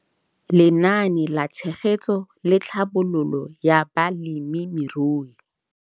Lenaane la Tshegetso le Tlhabololo ya Balemirui.